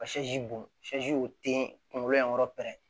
Ka bɔn te kunkolo yankɔrɔ pɛrɛn